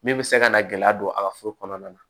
Min bɛ se ka na gɛlɛya don a ka furu kɔnɔna na